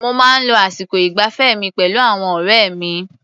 Mo máa ń lo àsìkò ìgbafẹ́ mi pẹ̀lú àwọn ọ̀rẹ́ mi.